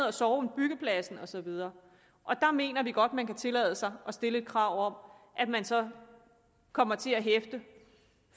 at sove end byggepladsen og så videre der mener vi godt man kan tillade sig at stille et krav om at man så kommer til at hæfte